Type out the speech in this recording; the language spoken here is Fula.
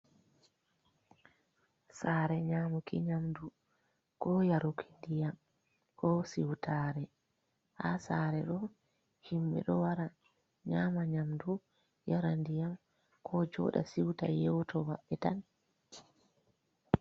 Sare nyamuki nyamdu ko yaruki diyam, ko siutare, ha sare ɗo o himɓɓe ɗo wara nyama nyamdu, yara ndiyam, ko joda siuta yewto maɓbe tan.